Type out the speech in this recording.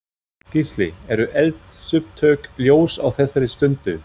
Gísli: Eru eldsupptök ljós á þessari stundu?